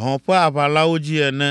hɔ̃ ƒe aʋalãwo dzi ene.